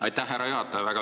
Aitäh, härra juhataja!